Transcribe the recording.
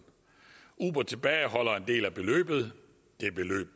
uber tilbageholder en del af beløbet